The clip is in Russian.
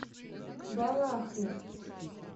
балахне